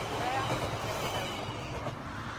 Mbũra ya mahĩga ĩraurire ira